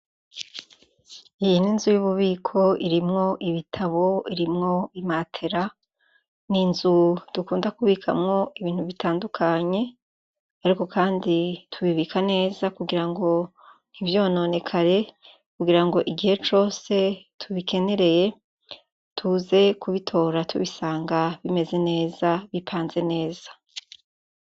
Iyi n'inzu y'ububiko irimwo ibitabo, irimwo imatera. N'inzu dukunda kubikamwo ibintu bitandukanye, ariko kandi tubibika neza kugira ngo ntivyononekare kugira ngo igihe cose tubikenereye tuze kubitora tubisanga bimeze neza bipanze neza.